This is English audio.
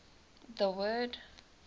the word